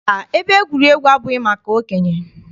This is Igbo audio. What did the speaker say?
Mba, ebe egwuregwu abụghị maka okenye.